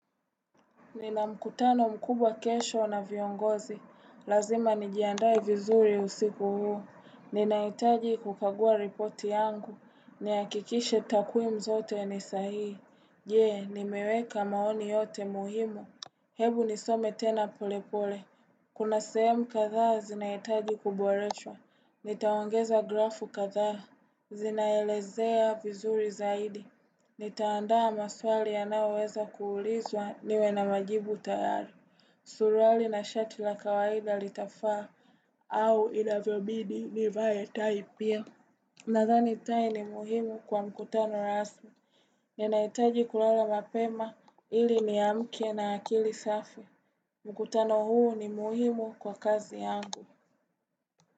Ninamkutano mkubwa kesho na viongozi. Lazima nijiandae vizuri usiku huu. Ninahitaji kukagua ripoti yangu. Nihakikishe takwimu zote ni sahii. Jee, nimeweka maoni yote muhimu. Hebu nisome tena polepole. Kuna sehemu kadhaa zinahitaji kuboreshwa. Nitaongeza grafu kadhaa. Zinaelezea vizuri zaidi. Ni taandaa maswali ya nayo weza kuulizwa niwe na majibu tayari. Suruali na shati la kawaida litafaa au inavyobidi nivaetai pia. Nathani tai ni muhimu kwa mkutano rasmi. Ninaaitaji kulala mapema ili ni amke na akili safi. Mkutano huu ni muhimu kwa kazi yangu.